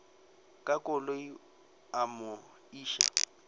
ka koloi a mo iša